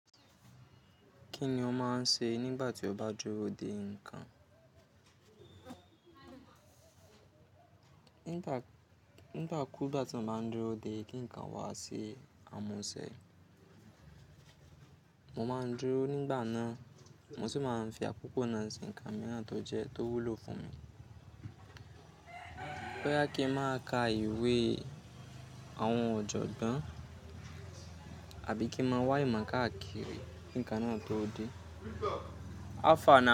Kí ni ọ máa ń ṣe nígbà tí o bá dúró de nǹkan? Nígbà kú, ìgbà tí mo bá ń dúró de kí nǹkan wá se àwon ise, mo máa ń dúró nígbà náà, mo sì máa ń fi àkókò náà sin nǹkan mìíràn tó jẹ́ tó wúlò fún mi. Aboya kín máa ka ìwé àwọn ọ̀jọ̀gbọ́n àbí kín máa wá ìmo máa kákiri kí nǹkan náà tó dé. Àfààna.